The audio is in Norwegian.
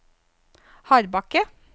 Hardbakke